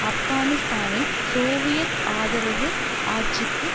ஆப்கானிஸ்தானில் சோவியத் ஆதரவு ஆட்சிக்கு